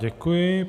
Děkuji.